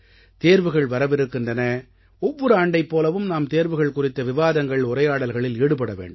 தேர்வுகள் வரவிருக்கின்றன ஒவ்வொரு ஆண்டைப் போலவும் நாம் தேர்வுகள் குறித்த விவாதங்கள் உரையாடல்களில் ஈடுபட வேண்டும்